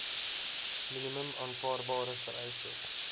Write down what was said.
minimum aanvaarbare vereistes